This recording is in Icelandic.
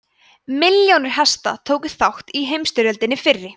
milljónir hesta tóku þátt í heimsstyrjöldinni fyrri